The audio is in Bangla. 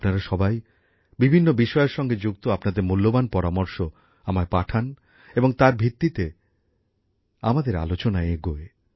আপনারা সবাই বিভিন্ন বিষয়ের সঙ্গে যুক্ত আপনাদের মূল্যবান পরামর্শ আমায় পাঠান এবং তার ভিত্তিতে আমাদের আলোচনা এগোয়